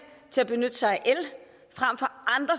til at benytte sig